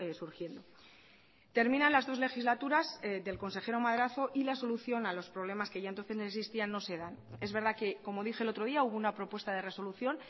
surgiendo terminan las dos legislaturas del consejero madrazo y la solución a los problemas que ya entonces existían no se dan es verdad que como dije el otro día hubo una propuesta de resolución